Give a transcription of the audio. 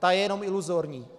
Ta je jenom iluzorní.